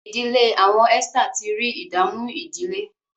ìdílé awọn Esther tí rí ìdààmú ìdílé.